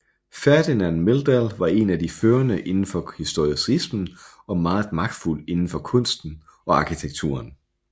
Ferdinand Meldahl var en af de førende indenfor historicismen og meget magtfuld indenfor kunsten og arkitekturen